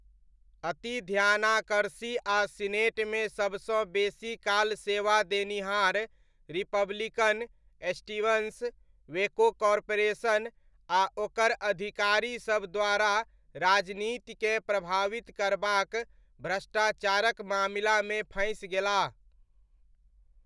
अति ध्यानाकर्षी आ सीनेटमे सबसँ बेसी काल सेवा देनिहार रिपब्लिकन, स्टीवन्स, वेको कॉर्पोरेशन आ ओकर अधिकारीसब द्वारा राजनीतिकेँ प्रभावित करबाक भ्रष्टाचारक मामिलामे फँसि गेलाह।